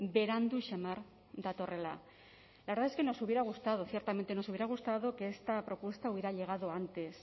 berandu samar datorrela la verdad es que nos hubiera gustado ciertamente nos hubiera gustado que esta propuesta hubiera llegado antes